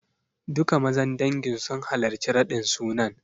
Duka mazan dangin sun halarci raɗin sunan.